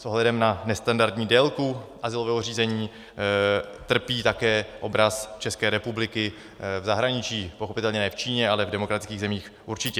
S ohledem na nestandardní délku azylového řízení trpí také obraz České republiky v zahraničí - pochopitelně ne v Číně, ale v demokratických zemích určitě.